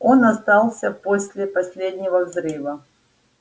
он остался после последнего взрыва